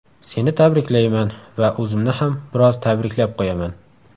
Seni tabriklayman va o‘zimni ham biroz tabriklab qo‘yaman.